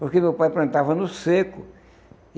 Porque meu pai plantava no seco.